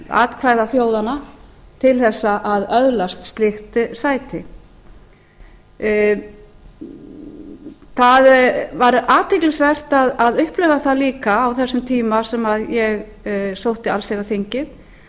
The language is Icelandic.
atkvæða þjóðanna til að öðlast slíkt sæti það var athyglisvert að upplifa það líka á þessum tíma sem ég sótti allsherjarþingið